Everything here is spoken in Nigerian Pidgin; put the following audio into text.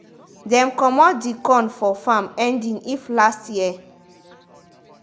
dem comot the corn for farm ending if last year.